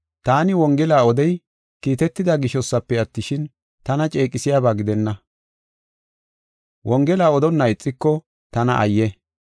Taani wongela odey kiitetida gishosafe attishin, tana ceeqisiyaba gidenna. Wongela odonna ixiko, tana ayye!